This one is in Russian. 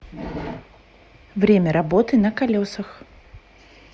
время работы на колесах